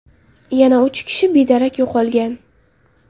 Yana uch kishi bedarak yo‘qolgan.